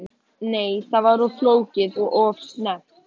Nei, það var of flókið og of snemmt.